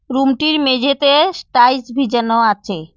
Room -টির মেঝেতে স্টাইস বিচানো আচে।